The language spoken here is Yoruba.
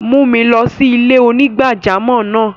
Mù mi lọ sí ilẹ̀-onígbàjàmọ́ náà!